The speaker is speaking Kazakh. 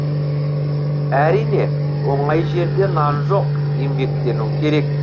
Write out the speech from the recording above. әрине оңай жерде нан жоқ еңбектену керек